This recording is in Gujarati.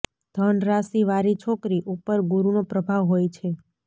ધન રાશિ વારી છોકરી ઉપર ગુરુનો પ્રભાવ હોય છે